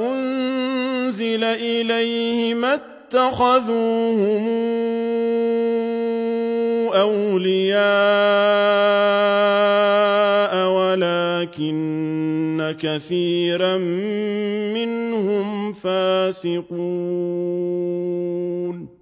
أُنزِلَ إِلَيْهِ مَا اتَّخَذُوهُمْ أَوْلِيَاءَ وَلَٰكِنَّ كَثِيرًا مِّنْهُمْ فَاسِقُونَ